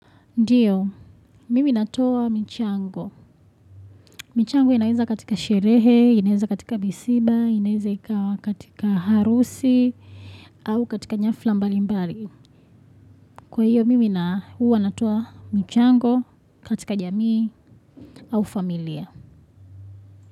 Ndio, mimi natoa michango. Michango inaweza katika sherehe, inaweza katika misiba, inaweza katika harusi, au katika nyafla mbalimbali. Kwa hiyo, mimi huwa natoa michango katika jamii au familia.